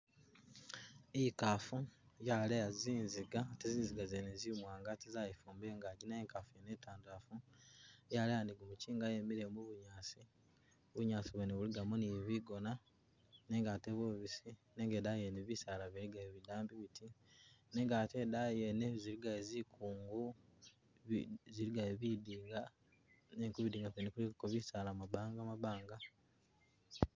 Ikaafu yaleya zinziga ate zinziga zene zimwanga ate zayifumba ingaji naye ikaafu iyino itandalafu yaleya ne gumuchinga yemile mubunyaasi, bunyaasi bwene bulikamo ne bigoona nenga ate bubisi nenga idaayi yene bisaala biligayo bidambi biti , nenga ate idaayi yene zilikayo zikungu bi bilikayo bidinga nenga kubidinga kuno kulikako bisaala mu mabanga mabanga